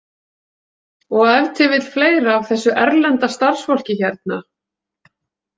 Og ef til vill fleira af þessu erlenda starfsfólki hérna.